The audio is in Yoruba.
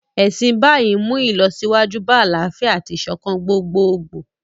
Ẹ̀sìn Báì ń mú ìlọsíwájú bá àlàáfíà àti ìṣọ̀kan gbogboogbò